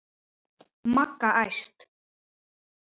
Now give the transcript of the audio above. Magga æst.